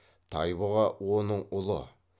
тайбұға оның ұлы